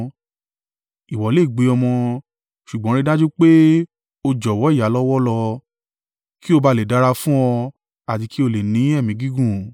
Ìwọ lè gbé ọmọ, ṣùgbọ́n rí i dájú pé o jọ̀wọ́ ìyá lọ́wọ́ lọ, kí ó ba à lè dára fún ọ àti kí o lè ní ẹ̀mí gígùn.